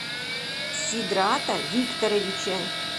сидрата викторовича